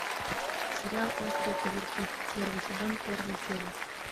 сериал острые козырьки первый сезон первая серия